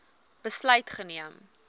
besluit geneem